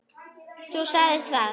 Þú sagðir það.